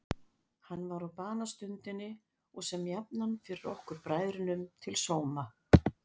Hann var á banastundinni og sem jafnan fyrr okkur bræðrunum til sóma.